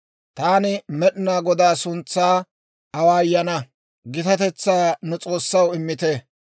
Taani Med'inaa Godaa suntsaa awaayana; gitatetsaa nu S'oossaw immite.